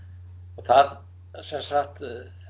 og það sem sagt